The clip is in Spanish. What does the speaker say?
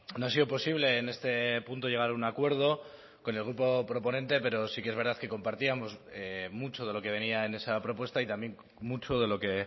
no ha sido posible en este punto llegar a un acuerdo con el grupo proponente pero sí que es verdad que compartíamos mucho de lo que venía en esa propuesta y también mucho de lo que